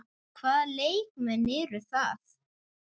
Hvaða leikmenn eru það?